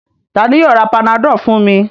Ta ni yóò ra Panadol fún mi?